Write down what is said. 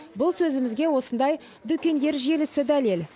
бұл сөзімізге осындай дүкендер желісі дәлел